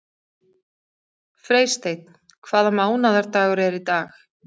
Freysteinn, hvaða mánaðardagur er í dag?